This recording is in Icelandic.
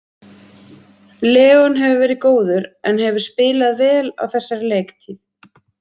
Leon hefur verið góður en hefur spilað vel á þessari leiktíð.